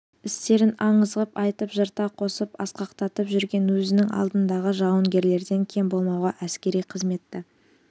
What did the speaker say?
істерін аңыз ғып айтып жырта қосып асқақтатып жүрген өзінің алдындағы жауынгерлерден кем болмауға әскери қызметті